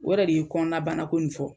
O yɛrɛ de ye kɔnɔna banako in fɔ.